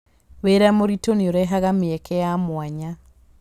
Wĩra mũritũ nĩ ũrehaga mĩeke ya mwanya.